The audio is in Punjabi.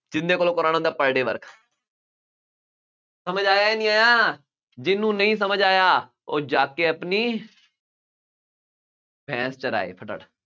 ਜਿਹਦੇ ਕੋਲੋਂ ਕਰਵਾਉਣਾ ਹੁੰਦਾ per day work ਸਮਝ ਆਇਆ ਨਹੀਂ ਆਇਆਂ, ਜਿਹਨੂੰ ਨਹੀਂ ਸਮਝ ਆਇਆ, ਉਹ ਜਾ ਕੇ ਆਪਣੀ ਭੈਂਸ ਚਰਾਏ, ਫਟਾਫਟ